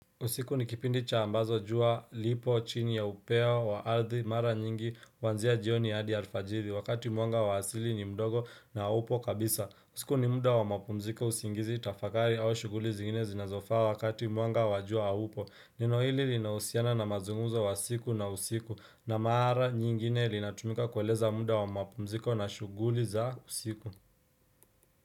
Usiku nikipindi cha ambazo jua lipochini ya upeo wa ardhi mara nyingi huanzia jioni hadi alfajithi wakati mwanga wa hasili ni mdogo na haupo kabisa usiku ni muda wa mapumziko usingizi tafadhari au shuguli zingine zinazofa wakati mwanga wajua haupo neno hili linahusiana na mazunguzo wa siku na usiku na mara nyingine linatumika kweleza muda wa mapumziko na shuguli za usiku.